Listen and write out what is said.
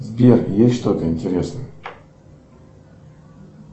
сбер есть что то интересное